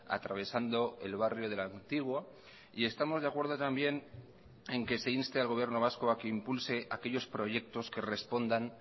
atravesando el barrio de el antiguo y estamos de acuerdo también en que se inste al gobierno vasco a que impulse aquellos proyectos que respondan